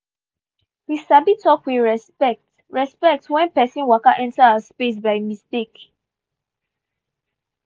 we sabi talk with respect respect when person waka enter our space by mistake.